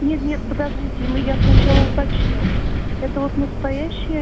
нет-нет подождите мы я сначала уточню это вот настоящая